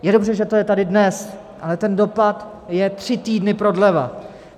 Je dobře, že to je tady dnes, ale ten dopad je tři týdny prodleva.